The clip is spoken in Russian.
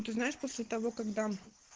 ну ты знаешь после того как дам